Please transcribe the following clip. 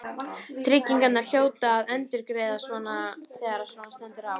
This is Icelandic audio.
Tryggingarnar hljóta að endurgreiða þegar svona stendur á.